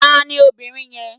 Tani obìnrin yẹn?